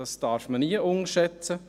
Das darf man nie unterschätzen.